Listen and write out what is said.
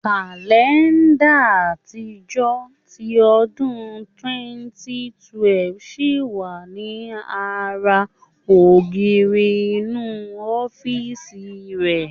Kàlẹ́ńdà àtijọ́ ti ọdún 2012 ṣì wà ní ara ògiri inú ọ́fíìsì rẹ̀.